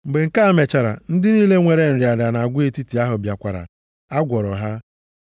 Mgbe nke a mechara, ndị niile nwere nrịa nrịa nʼagwa etiti ahụ bịakwara, a gwọkwara ha.